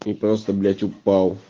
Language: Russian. ты просто блять упал